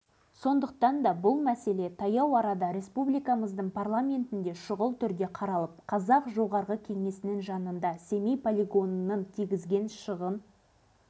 халық бәрін біледі және туған жерлерін атом ойранына айналдырған әскерилерді ешқашан кешірмейді